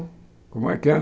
Como é que é?